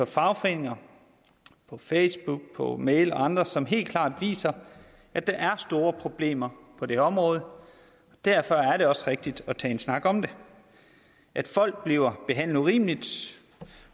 fagforeninger på facebook på mail og andre steder som helt klart viser at der er store problemer på det her område derfor er det også rigtigt at tage en snak om det folk bliver behandlet urimeligt